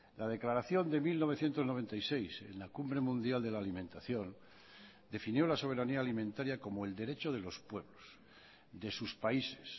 la declaración de mil novecientos noventa y seis en la cumbre mundial de la alimentación definió la soberanía alimentaria como el derecho de los pueblos de sus países